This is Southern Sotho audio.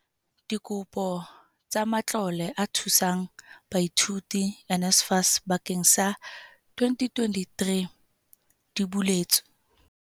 Dikopo tsa Matlole a Thusang Baithuti, NSFAS, bakeng sa 2023 di buletswe.